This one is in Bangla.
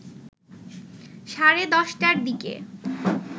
সাড়ে ১০ টার দিকে